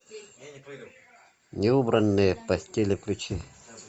неубранные постели включи